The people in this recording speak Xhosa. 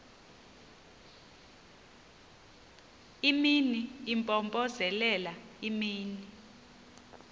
imini impompozelela imini